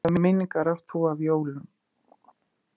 Hvaða minningar átt þú af jólum?